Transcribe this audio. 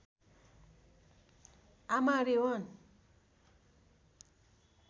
आमा री वन